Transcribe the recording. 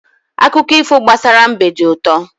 Akụkọ ifo gbasara mbe dị ụtọ.